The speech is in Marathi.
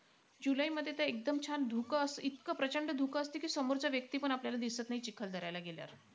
जुलैमध्ये तर एकदम छान धुकं अस इतकं प्रचंड धुकं असतं की समोरचा व्यक्तीपण आपल्याला दिसंत नाई चिखलदऱ्याला गेल्यावर.